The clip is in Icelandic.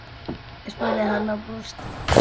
spurði hann og brosti.